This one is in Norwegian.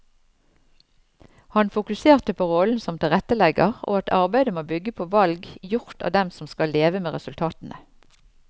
Han fokuserte på rollen som tilrettelegger og at arbeidet må bygge på valg gjort av dem som skal leve med resultatene.